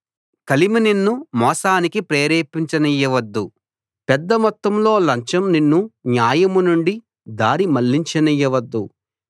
కలిమి నిన్ను మోసానికి ప్రేరేపించనియ్యవద్దు పెద్ద మొత్తంలో లంచం నిన్ను న్యాయం నుండి దారి మళ్ళించనియ్యవద్దు